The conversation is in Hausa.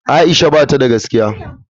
Aisha bata da gaskiya.